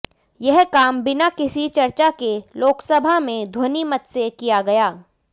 यह काम बिना किसी चर्चा के लोकसभा में ध्वनि मत से किया गया